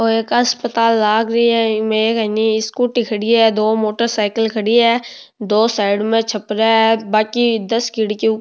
ये एक अस्पताल लाग रेहो है इमे एक स्कूटी खड़ी है दो मोटर साइकल खड़ी है दो साइड में छपरी है बाकी दस खिड़की --